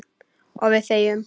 Og við þegjum.